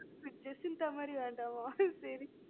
அப்ப ஜெசிந்தா மாறி வேண்டாமா சரி